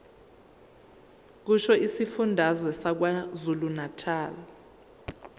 kusho isifundazwe sakwazulunatali